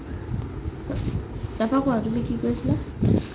তাৰ পৰা কুৱা তুমি কি কই আছিলা